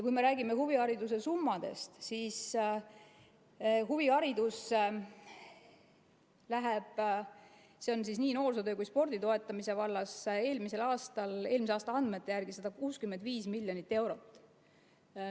Kui me räägime huvihariduse summadest, siis nii noorsootöö kui ka spordi toetamise vallas oli see eelmise aasta andmete järgi 165 miljonit eurot.